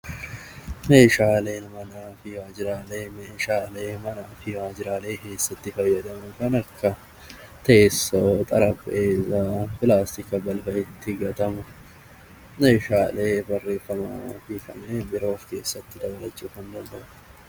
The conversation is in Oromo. Meeshaaleen manaa fi meeshaaleen waajjiraalee meeshaalee manaa fi waajjiraalee keessatti fayyadan kan akka teessoo, meeshaalee barreeffamaa fi kanneen biroo of keessatti kan qabatudha